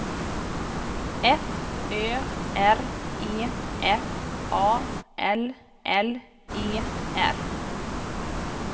F Ö R E F A L L E R